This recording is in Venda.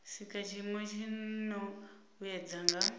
sika tshiimo tshino vhuedza nga